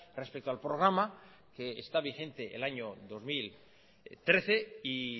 respecto al programa que está vigente el año dos mil trece y